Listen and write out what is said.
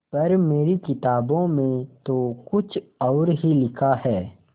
पर मेरी किताबों में तो कुछ और ही लिखा है